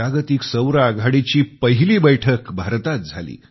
जागतिक सौर आघाडीची पहिली बैठक भारतात झाली